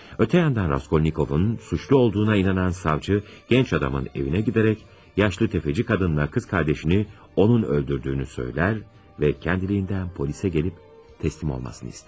Ötən yandan Raskolnikovun suçlu olduğuna inanan savçı gənc adamın evinə gedərək, yaşlı təfəcci qadınla qız qardaşını onun öldürdüyünü söylər və öz-özünə polisə gəlib təslim olmasını istər.